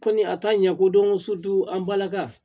Kɔni a ta ɲɛ ko don ko soju an balaka